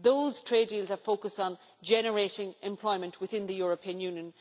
those trade deals are focused on generating employment within the European Union.